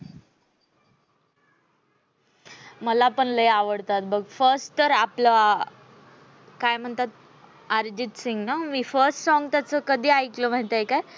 मला पण लय आवडत बघ first तर आपल्या काय म्हणते त्याला अर्जित सिंग ना मी first song त्यांचंकधी ऐकलं माहित आहे का?